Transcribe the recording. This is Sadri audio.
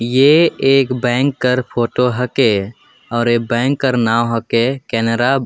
ये एक बैंक कर फोटो ह के अउ ए बैंक कर नाव ह के केनरा --